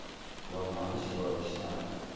wa muhasho wa lushaka wa